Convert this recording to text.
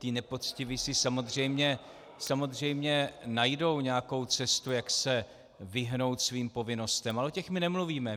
Ti nepoctiví si samozřejmě najdou nějakou cestu, jak se vyhnout svým povinnostem, ale o těch my nemluvíme.